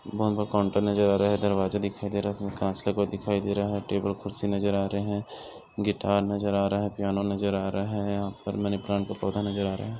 बहुत बड़ा काउंटर नज़र आ रहा है दरवाजा दिखाई दे रहा है इसमें कांच लगा हुआ दिखाई दे रहा है टेबल कुर्सी नज़र आ रहे है गिटार नज़र आ रहा है पियानो नज़र आ रहा है यहाँ पर मनी प्लांट का पौधा नज़र आ रहा है।